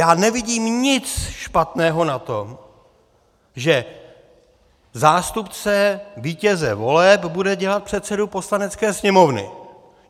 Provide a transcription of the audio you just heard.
Já nevidím nic špatného na tom, že zástupce vítěze voleb bude dělat předsedu Poslanecké sněmovny.